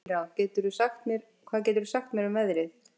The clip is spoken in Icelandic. Engilráð, hvað geturðu sagt mér um veðrið?